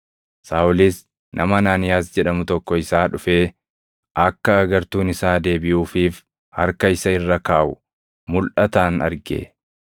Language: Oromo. Saaʼolis nama Anaaniyaas jedhamu tokko isaa dhufee akka agartuun isaa deebiʼuufiif harka isa irra kaaʼu mulʼataan arge.”